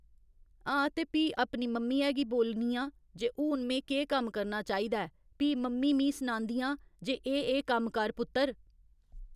हां ते भी अपनी मम्मियै गी बोलनी आं जे हून में केह् कम्म करना चाहिदा ऐ भी मम्मी मीं सनांदियां जे एह् एह् कम्म कर पुत्तर।